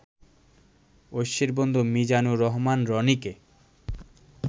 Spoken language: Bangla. ঐশীর বন্ধু মিজানুর রহমান রনিকে